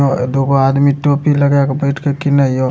अ दू गो आदमी टोपी लगा के बैठ के किने या।